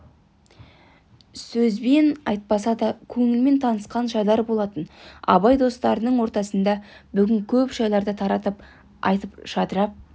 сөзбен айтпаса да көңілмен танысқан жайлар болатын абай достарының ортасында бүгін көп жайларды таратып айтып жадырап